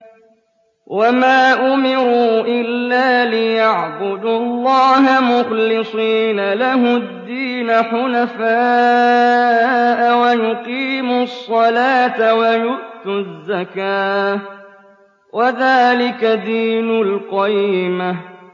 وَمَا أُمِرُوا إِلَّا لِيَعْبُدُوا اللَّهَ مُخْلِصِينَ لَهُ الدِّينَ حُنَفَاءَ وَيُقِيمُوا الصَّلَاةَ وَيُؤْتُوا الزَّكَاةَ ۚ وَذَٰلِكَ دِينُ الْقَيِّمَةِ